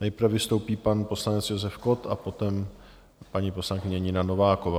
Nejprve vystoupí pan poslanec Josef Kott, potom paní poslankyně Nina Nováková.